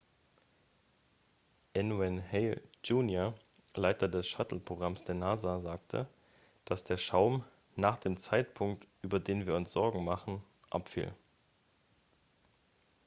n wayne hale jr leiter des shuttle-programms der nasa sagte dass der schaum nach dem zeitpunkt über den wir uns sorgen machen abfiel